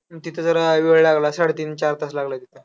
तिथं जरा वेळ लागला साडेतीन चार तास लागलाय तिथं.